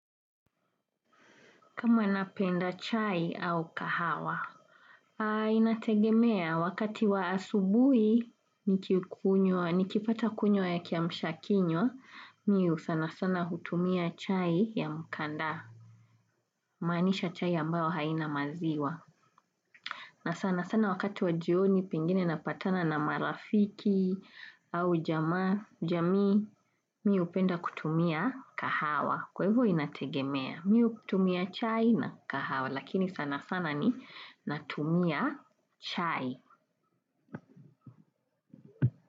Kama napenda chai au kahawa, inategemea wakati wa asubuhi, nikipata kunywa ya kiamsha kinywa, mimi sana sana hutumia chai ya mkandaa, maanisha chai ambayo haina maziwa. Na sana sana wakati wa jioni pengine napatana na marafiki au jamii mimi hupenda kutumia kahawa kwa hivyo inategemea mimi hutumia chai na kahawa lakini sana sana ni natumia chai.